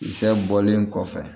Fɛn bɔlen kɔfɛ